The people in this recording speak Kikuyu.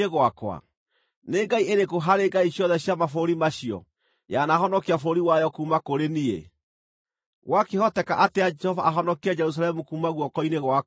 Nĩ ngai ĩrĩkũ harĩ ngai ciothe cia mabũrũri macio yanahonokia bũrũri wayo kuuma kũrĩ niĩ? Gwakĩhoteka atĩa Jehova ahonokie Jerusalemu kuuma guoko-inĩ gwakwa?”